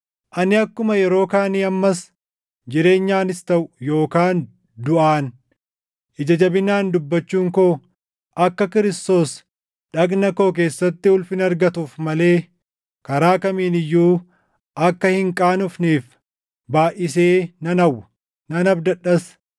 Ani akkuma yeroo kaanii ammas jireenyaanis taʼu yookaan duʼaan ija jabinaan dubbachuun koo akka Kiristoos dhagna koo keessatti ulfina argatuuf malee karaa kamiin iyyuu akka hin qaanofneef baayʼisee nan hawwa; nan abdadhas.